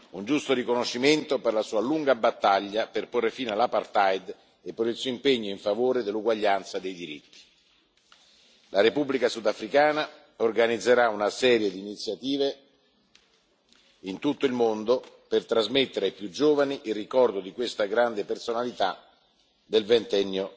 Un giusto riconoscimento per la sua lunga battaglia per porre fine all' apartheid e per il suo impegno in favore dell'uguaglianza dei diritti. La Repubblica sudafricana organizzerà una serie di iniziative in tutto il mondo per trasmettere ai più giovani il ricordo di questa grande personalità del